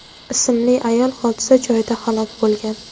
ismli ayol hodisa joyida halok bo‘lgan.